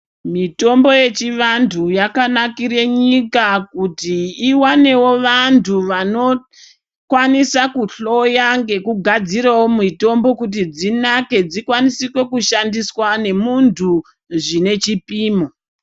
Mitombo yechivantu yakanakire nyika kuti iwanewo vantu vanokwanisa kuhloya ngekugadzirawo mitombo kuti dzinake dzikwanise kushandiswa nemuntu zvine chipimo.